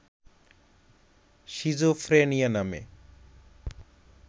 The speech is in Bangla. সিজোফ্রেনিয়া নামে